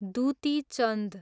Dutee Chand